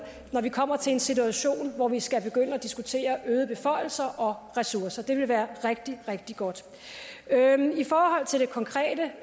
når vi kommer til en situation hvor vi skal begynde at diskutere øgede beføjelser og ressourcer det vil være rigtig rigtig godt i forhold til det konkrete